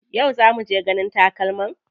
Yau za muje ganin takalman?